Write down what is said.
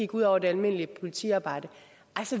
går ud over det almindelige politiarbejde